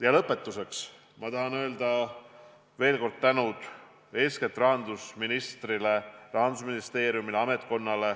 Ja lõpetuseks tahan ma veel kord tänada eeskätt rahandusministrit, Rahandusministeeriumit, ametkonda.